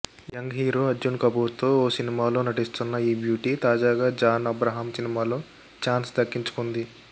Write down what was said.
young hero Arjun కపూర్తో ఓ సినిమాలో నటిస్తున్న ఈ బ్యూటీ తాజాగా జాన్ అబ్రహాం సినిమాలో ఛాన్స్ దక్కించుకుంది